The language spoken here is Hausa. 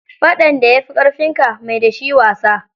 Faɗan da ya fi ƙarfinka, mai da shi wasa.